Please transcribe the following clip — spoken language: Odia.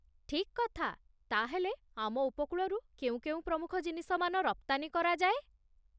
ଠିକ୍ କଥା! ତା'ହେଲେ ଆମ ଉପକୂଳରୁ କେଉଁ କେଉଁ ପ୍ରମୁଖ ଜିନିଷମାନ ରପ୍ତାନୀ କରାଯାଏ?